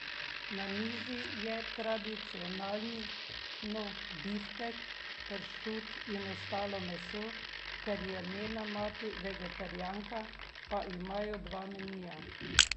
Na mizi je tradicionalno biftek, pršut in ostalo meso, ker je njena mati vegetarijanka, pa imajo dva menija.